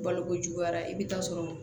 Balokojuguyara i bɛ taa sɔrɔ